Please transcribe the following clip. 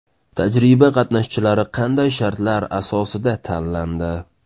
Tajriba qatnashchilari qanday shartlar asosida tanlandi?